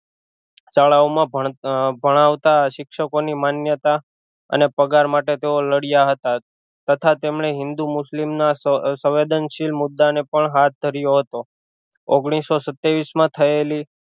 શાળાઑમાં ભણ ભણાવતા શિક્ષકો ની માન્યતા અને પગાર માટે તેઓ લડ્યા હતા તથા તેમણે હિન્દુ મુસ્લિમ ના સવેદનશીલ મુદા ને પણ હાથ ધર્યો હતો ઓગનીશો સત્યાવીશ માં થયેલી